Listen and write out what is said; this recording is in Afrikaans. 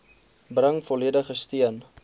bring volledige steun